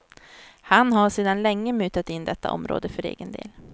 Han har sedan länge mutat in detta område för egen del.